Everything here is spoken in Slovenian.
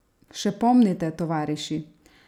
Še pomnite, tovariši?